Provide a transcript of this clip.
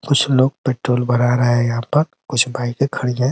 कुछ लोग पेट्रोल भरा रहे हैं यहाँ पर कुछ बाइकें खड़ी हैं।